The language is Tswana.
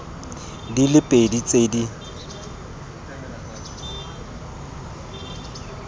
di le pedi tse di